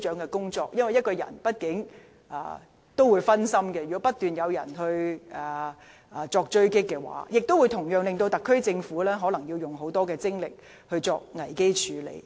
如果一名官員被外界不斷狙擊，工作畢竟會分心，同時可能耗用特區政府更多精力作危機處理。